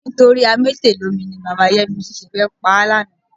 Nítorí amétèlómi ni bàbá Yẹ́misí ṣe fẹ́ pa á lánàá.